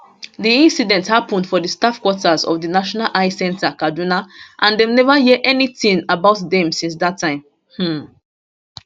di incident happun for di staff quarters of di national eye centre kaduna and dem neva hear anytin about dem since dat time um